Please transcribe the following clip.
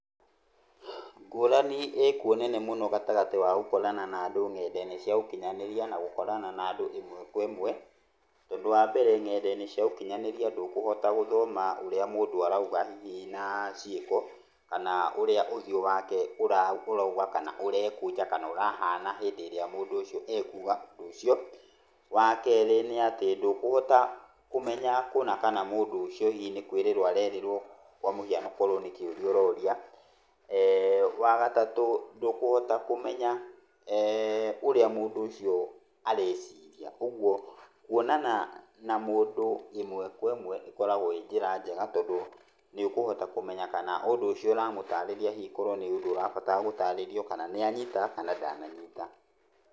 Ngũrani ĩkuo nene mũno gatagatĩ wa gũkorana na andũ ng'enda-inĩ cia ũkinyanĩria na gũkorana na andũ ĩmwe kwa ĩmwe. Tondũ wambere ng'enda-inĩ cia ũkinyanĩria ndũkũhota gũthoma ũrĩa mũndũ arauga hihi na ciĩko, kana ũrĩa ũthiũ wake ũrauga kana ũrekũnja, kana ũrahana hĩndĩ ĩrĩa mũndũ ũcio aigua ũndũ ũcio. Wakerĩ nĩ atĩ ndũkũhota kũmenya kũna kana mũndũ ũcio hihi nĩ kũĩrĩrwo arerĩrwo. Kwa mũhiano akorwo nĩ kĩũria ũroria. Wa gatatũ ndũkũhota kũmenya, ũrĩa mũndũ ũcio areciria. Ũguo kuonana na mũndũ ĩmwe kwa ĩmwe ĩkoragwo ĩ njĩra njega tondũ nĩ ũkũhota kũmenya kana ũndũ ũcio ũramũtarĩria, hihi korwo nĩ ũndũ ũrabatara gũtarĩrio kana nĩ anyita kana ndananyita.